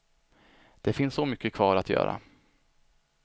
Det finns så mycket kvar att göra.